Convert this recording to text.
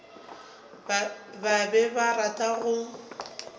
ba be ba rata go